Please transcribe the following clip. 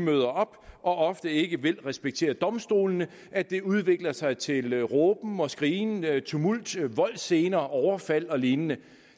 møder op og ofte ikke vil respektere domstolene at det udvikler sig til råben og skrigen tumult voldsscener overfald og lignende